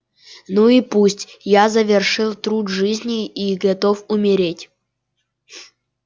ну и пусть я завершил труд жизни и готов умереть